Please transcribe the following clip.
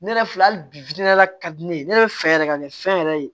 Ne yɛrɛ filɛ hali bi la ka di ne ye ne yɛrɛ bɛ fɛ yɛrɛ ka nin fɛn yɛrɛ ye